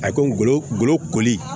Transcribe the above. A ko n go ngolo koli